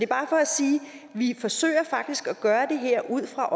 bare for at sige at vi faktisk forsøger at gøre det her ud fra